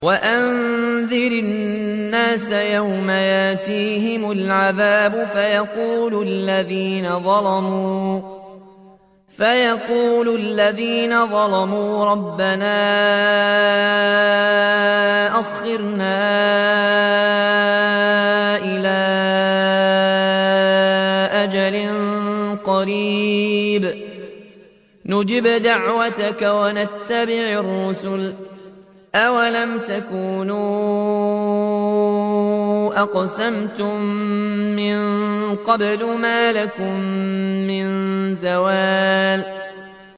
وَأَنذِرِ النَّاسَ يَوْمَ يَأْتِيهِمُ الْعَذَابُ فَيَقُولُ الَّذِينَ ظَلَمُوا رَبَّنَا أَخِّرْنَا إِلَىٰ أَجَلٍ قَرِيبٍ نُّجِبْ دَعْوَتَكَ وَنَتَّبِعِ الرُّسُلَ ۗ أَوَلَمْ تَكُونُوا أَقْسَمْتُم مِّن قَبْلُ مَا لَكُم مِّن زَوَالٍ